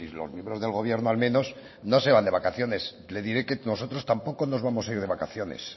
los miembros del gobierno al menos no se van de vacaciones le diré que nosotros tampoco nos vamos a ir de vacaciones